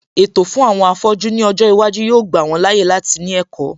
Ètò fún àwọn afọ́jú ní ọjọ́ iwájú yóò gbà wọn láàyè láti ní ẹ̀kọ́